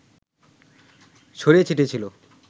ছড়িয়ে ছিটিয়ে ছিল